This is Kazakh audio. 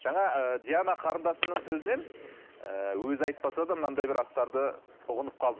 жаңа ыыы диана қарындасымның сөзінен ыыы өзі айтпаса да мынандай бір астарды ұғынып қалдым